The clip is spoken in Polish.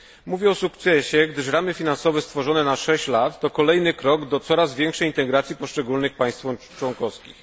Mówię o sukcesie, gdyż ramy finansowe stworzone na 6 lat to kolejny krok do coraz większej integracji poszczególnych państw członkowskich.